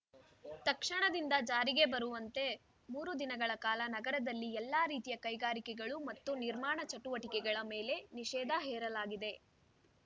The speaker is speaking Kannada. ತಕ್ಷಣದಿಂದ ಜಾರಿಗೆ ಬರುವಂತೆ ಮೂರು ದಿನಗಳ ಕಾಲ ನಗರದಲ್ಲಿ ಎಲ್ಲಾ ರೀತಿಯ ಕೈಗಾರಿಕೆಗಳು ಮತ್ತು ನಿರ್ಮಾಣ ಚಟುವಟಿಕೆಗಳ ಮೇಲೆ ನಿಷೇಧ ಹೇರಲಾಗಿದೆ